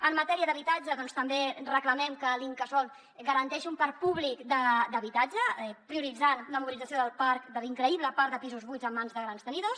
en matèria d’habitatge doncs també reclamem que l’incasòl garanteixi un parc públic d’habitatge prioritzant la mobilització del parc de l’increïble parc de pisos buits en mans de grans tenidors